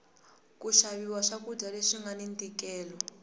ku xaviwa swa kudya leswi ngani ntikelo